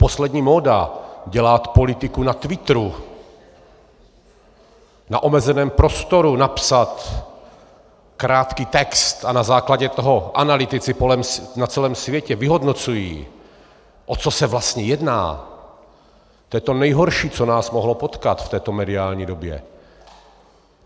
Poslední móda - dělat politiku na Twitteru, na omezeném prostoru napsat krátký text, a na základě toho analytici na celém světě vyhodnocují, o co se vlastně jedná, to je to nejhorší, co nás mohlo potkat v této mediální době.